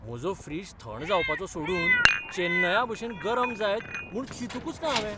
म्हजो फ्रिज थंड जावपाचो सोडून चेन्नया भशेन गरम जायत म्हूण चिंतुकूच ना हांवें!